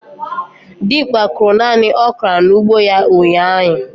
Dimgba kụrụ nani okra n'ugbo ya ụnyahụ.